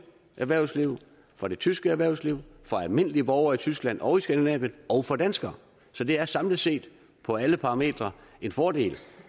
erhvervsliv for det tyske erhvervsliv for almindelige borgere i tyskland og i skandinavien og for danskere så det er samlet set på alle parametre en fordel